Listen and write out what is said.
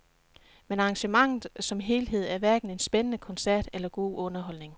Men arrangementet som helhed er hverken en spændende koncert eller god underholdning.